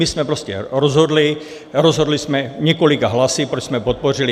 My jsme prostě rozhodli, rozhodli jsme několika hlasy, proč jsme podpořili.